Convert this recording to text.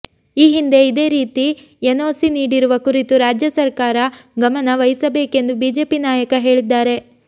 ಈ ಹಿಂದೆ ಇದೇ ರೀತಿ ಎನ್ಒಸಿ ನೀಡಿರುವ ಕುರಿತು ರಾಜ್ಯ ಸರಕಾರ ಗಮನ ವಹಿಸಬೇಕೆಂದು ಬಿಜೆಪಿ ನಾಯಕ ಹೇಳಿದ್ದಾರೆ